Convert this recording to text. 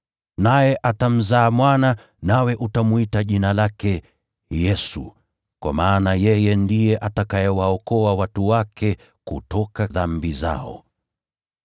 Naye atamzaa mwana, nawe utamwita Jina lake Yesu, kwa maana yeye ndiye atakayewaokoa watu wake kutoka dhambi zao.”